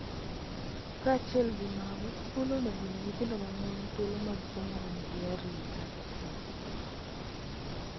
Kaachiel gi mago, skul onego omi nyithindo ma mon thuolo mag somo ma nigi arita.